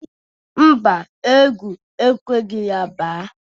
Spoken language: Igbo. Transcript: Mba, egwu ekweghi ya ba.